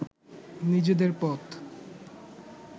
নিজেদের পথ